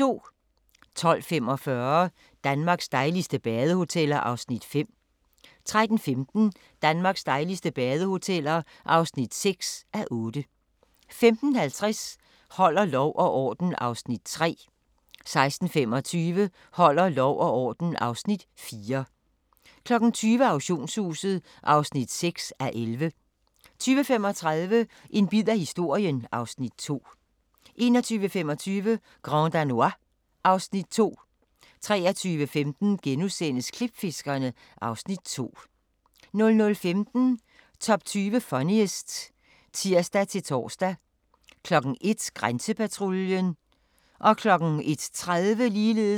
12:45: Danmarks dejligste badehoteller (5:8) 13:15: Danmarks dejligste badehoteller (6:8) 15:50: Holder lov og orden (Afs. 3) 16:25: Holder lov og orden (Afs. 4) 20:00: Auktionshuset (6:11) 20:35: En bid af historien (Afs. 2) 21:25: Grand Danois (Afs. 2) 23:15: Klipfiskerne (Afs. 2)* 00:15: Top 20 Funniest (tir-tor) 01:00: Grænsepatruljen (tir-tor)